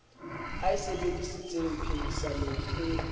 a e sebedisitseng phehisanong e